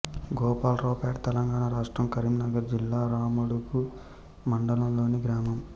గోపాల్రావుపేట్ తెలంగాణ రాష్ట్రం కరీంనగర్ జిల్లా రామడుగు మండలంలోని గ్రామం